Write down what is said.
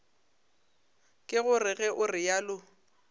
ke gore ge o realo